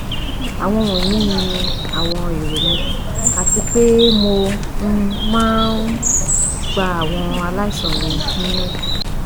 Awọn wọnyi ni awọn ero mi ati pe mo um maa um n gba awọn alaisan mi niyanju